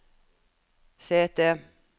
sete